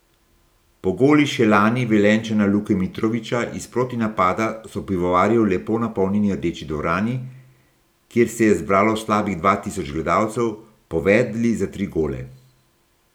Po golu še lani Velenjčana Luke Mitrovića iz protinapada so pivovarji v lepo napolnjeni Rdeči dvorani, kjer se je zbralo slabih dva tisoč gledalcev, povedli za tri gole.